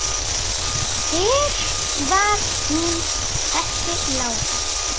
Hver var hún þessi Lára?